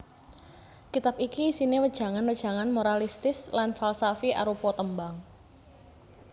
Kitab iki isiné wejangan wejangan moralistis lan falsafi arupa tembang